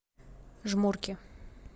жмурки